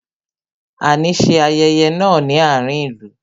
A ní ṣe ayẹyẹ náà ní àárín ìlú